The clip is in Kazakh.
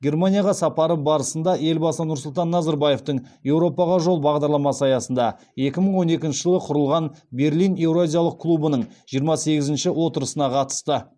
германияға сапары барысында елбасы нұрсұлтан назарбаевтың еуропаға жол бағдарламасы аясында екі мың он екінші жылы құрылған берлин еуразиялық клубының жиырма сегізінші отырысына қатысты